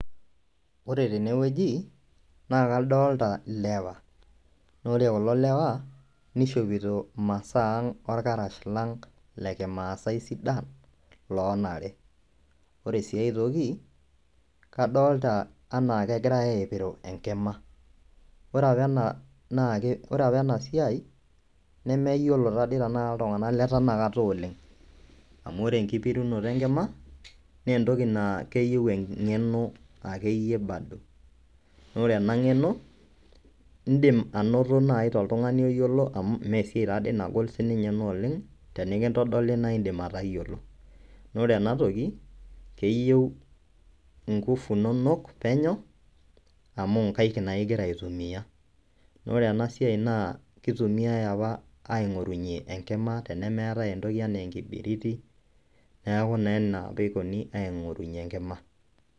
Ore tene wueji naa kadolta ilewa naa ore kulo lewa nishopito imasaa aang' orkarash lang' le kimaasai sidan loonare. Ore sii ai toki kadolta enake egirai aipiru enkima, ore apa ena naake ore apa ena siai nemeyiolo taadii tenakta iltung'anak le tenakata oleng' amu ore enkipirunoto enkima nee entoki naa keyieu eng'eno akeyie bado naa ore ena ng'eno indim anoto nai toltung'ani oyiolo amu mee siai taa dii nagol sininye ena oleng', tenenkitodoli nae iindim atayiolo. Naa ore ena toki keyeu nguvu inonok penyo amu nkaek naake ing'ia aitumia naa ore ena siai kitumiai apa aing'orunye enkima tenemeetai entoki enaa enkibiriti, neeku naa ena apa ikoni aing'orunye enkima.